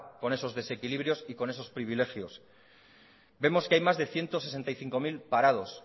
con esos desequilibrios y con esos privilegios vemos que hay más de ciento sesenta y cinco mil parados